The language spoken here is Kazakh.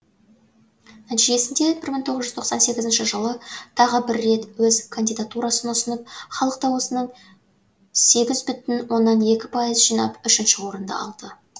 нәтижесінде бір мың тоғыз тоқсан сегізінші жылы тағы бір рет өз кандидатурасын ұсынып халық даусының сегіз бүтін оннан екі пайыз жинап үшінші орынды алды